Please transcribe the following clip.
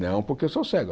Não porque eu sou cego.